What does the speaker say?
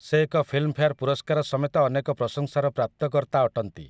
ସେ ଏକ ଫିଲ୍ମଫେୟାର୍ ପୁରସ୍କାର ସମେତ ଅନେକ ପ୍ରଶଂସାର ପ୍ରାପ୍ତକର୍ତ୍ତା ଅଟନ୍ତି ।